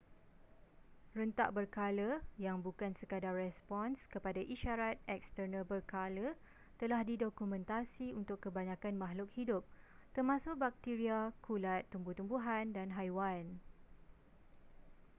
rentak berkala yang bukan sekadar respons kepada isyarat eksternal berkala telah didokumentasi untuk kebanyakan makhluk hidup termasuk bakteria kulat tumbuh-tumbuhan dan haiwan